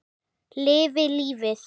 Lifi lífið!